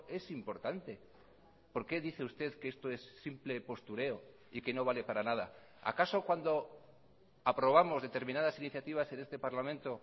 es importante por qué dice usted que esto es simple postureo y que no vale para nada acaso cuando aprobamos determinadas iniciativas en este parlamento